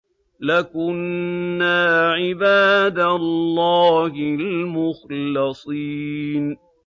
لَكُنَّا عِبَادَ اللَّهِ الْمُخْلَصِينَ